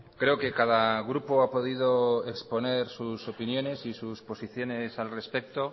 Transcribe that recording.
creo que cada grupo ha podido exponer sus opiniones y sus posiciones al respecto